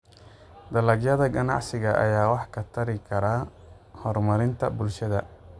Dalagyada ganacsiga ayaa wax ka tari kara horumarinta bulshada.